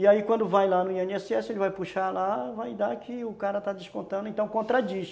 E aí quando vai lá no i ene esse esse, ele vai puxar lá, vai dar que o cara está descontando, então contradiz.